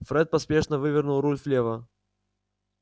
фред поспешно вывернул руль влево